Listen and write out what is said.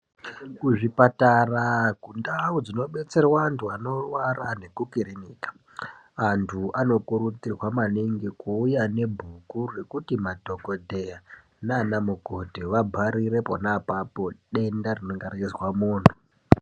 Kuzvipatara kundau dzinodetserwa antu anorwara nekukiriniki antu anokurudzirwa maningi kuuya nebhuku rekuti madhokodheya nana mukoti vabharire pona apapo denda rinonga reizwe muntu.